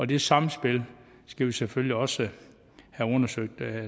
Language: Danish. det samspil skal vi selvfølgelig også have undersøgt